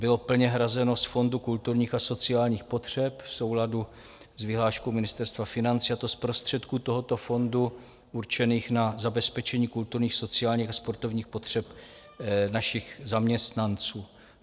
Bylo plně hrazeno z Fondu kulturních a sociálních potřeb v souladu s vyhláškou Ministerstva financí, a to z prostředků tohoto fondu určených na zabezpečení kulturních, sociálních a sportovních potřeb našich zaměstnanců.